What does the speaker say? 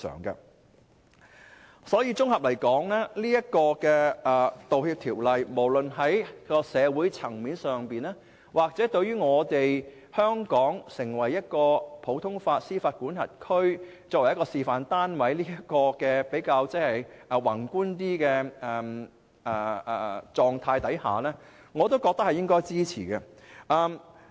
因此，綜合而言，我認為《條例草案》無論在社會層面上，還是從香港成為普通法適用地區示範單位這個比較宏觀的角度衡量，均應予以支持。